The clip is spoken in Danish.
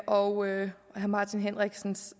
og herre martin henriksens